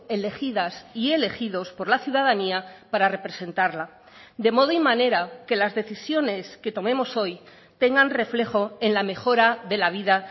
elegidas y elegidos por la ciudadanía para representarla de modo y manera que las decisiones que tomemos hoy tengan reflejo en la mejora de la vida